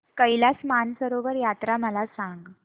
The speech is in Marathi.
कैलास मानसरोवर यात्रा मला सांग